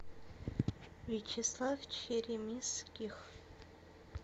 вячеслав черемисских